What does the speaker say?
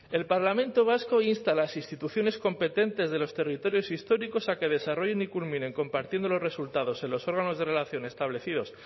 es que el parlamento vasco insta a las instituciones competentes de los territorios históricos a que desarrollen y culminen compartiendo los resultados en los órganos de relación establecidos